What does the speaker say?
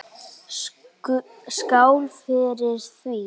Skál fyrir því.